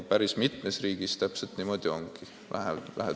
Päris mitmes riigis niimoodi ongi.